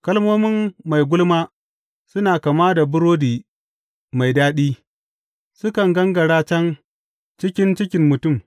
Kalmomin mai gulma suna kama da burodi mai daɗi; sukan gangara can cikin cikin mutum.